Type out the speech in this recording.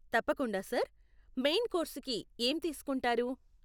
తప్పకుండా sir. Main కోర్సుకి ఏం తీసుకుంటారు?